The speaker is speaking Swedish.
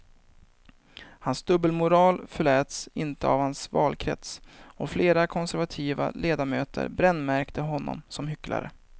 Hans dubbelmoral förläts inte av hans valkrets och flera konservativa ledamöter brännmärkte honom som hycklare.